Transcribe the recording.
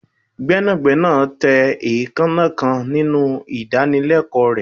gbénàgbénà tẹ eekanna kan ninu idanileko rẹ